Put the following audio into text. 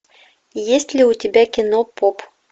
есть ли у тебя кино поп